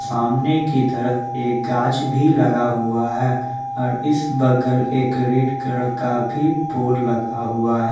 सामने की तरफ एक गाज भी लगा हुआ है और इस बगल एक रेड कलर का भी पोल लगा हुआ है।